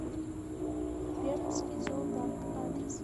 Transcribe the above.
пермский зоопарк адрес